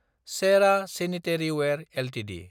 Cera sanitaryware Ltd